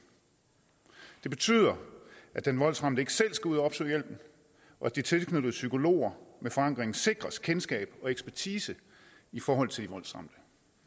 det betyder at den voldsramte ikke selv skal ud og opsøge hjælpen og de tilknyttede psykologer med forankring sikres kendskab og ekspertise i forhold til voldsramte